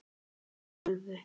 ef. tölvu